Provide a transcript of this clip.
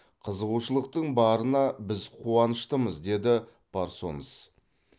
қызығушылықтың барына біз қуаныштымыз деді парсонс